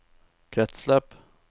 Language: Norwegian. kretsløp